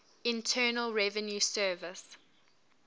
internal revenue service